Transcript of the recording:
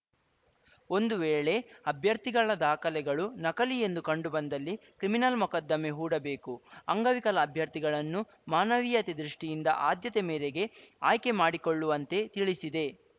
ಒಂದು ವೇಳೆ ಅಭ್ಯರ್ಥಿಗಳ ದಾಖಲೆಗಳು ನಕಲಿ ಎಂದು ಕಂಡುಬಂದಲ್ಲಿ ಕ್ರಿಮಿನಲ್‌ ಮೊಕದ್ದಮೆ ಹೂಡಬೇಕು ಅಂಗವಿಕಲ ಅಭ್ಯರ್ಥಿಗಳನ್ನು ಮಾನವೀಯತೆ ದೃಷ್ಟಿಯಿಂದ ಆದ್ಯತೆ ಮೇರೆಗೆ ಆಯ್ಕೆ ಮಾಡಿಕೊಳ್ಳುವಂತೆ ತಿಳಿಸಿದೆ